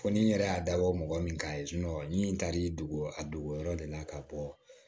Fɔ ni n yɛrɛ y'a dabɔ mɔgɔ min kan ye ni n taara dogo a dogoyɔrɔ de la ka bɔ